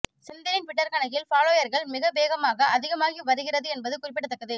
செந்திலின் Twitter கணக்கில் ஃபாலோயர்கள் மிக வேகமாக அதிகமாகி வருகிறது என்பது குறிப்பிடத்தக்கது